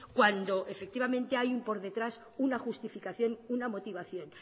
cuando efectivamente hay por detrás una justificación una motivación